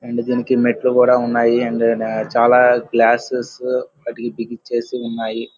And దీనికి మెట్టెలు కూడా ఉన్నాయి. అండ్ చాలా గ్లాస్సెస్ వాటికి బిగించి ఉన్నాయి.